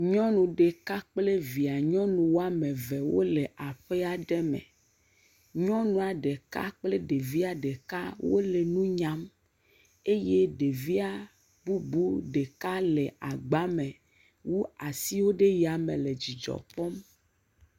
Nyɔnu ɖeka kple vie nyɔnu woame ve wole aƒe aɖe me. Nyɔnua ɖeka kple viɛ ɖeka wole nu nyam. Eye ɖeviɛ ɖeka bubu ɖeka le agbame wu asiwo ɖe yame le dzidzɔ kpɔm.